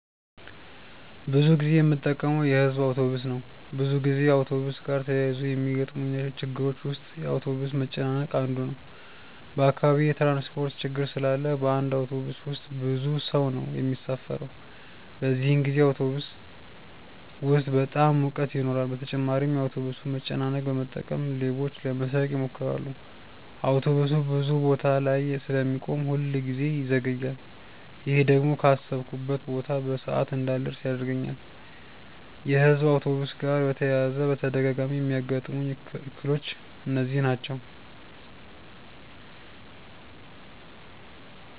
ብዙ ጊዜ የምጠቀመው የሕዝብ አውቶብስ ነው። ብዙ ጊዜ አውቶብስ ጋር ተያይዞ ከሚገጥሙኝ ችግሮች ውስጥ የአውቶብስ መጨናነቅ አንዱ ነው። በአካባቢዬ የትራንስፖርት ችግር ስላለ በአንድ አውቶብስ ውስጥ ብዙ ሰው ነው የሚሳፈረው። በዚህን ጊዜ አውቶብስ ውስጥ በጣም ሙቀት ይኖራል በተጨማሪም የአውቶብሱን መጨናነቅ በመጠቀም ሌቦች ለመስረቅ ይሞክራሉ። አውቶብሱ ብዙ ቦታ ላይ ስለሚቆም ሁል ጊዜ ይዘገያል። ይሄ ደግሞ ካሰብኩበት ቦታ በሰዓት እንዳልደርስ ያደርገኛል። የሕዝብ አውቶብስ ጋር በተያያዘ በተደጋጋሚ የሚያጋጥሙኝ እክሎች እነዚህ ናቸው።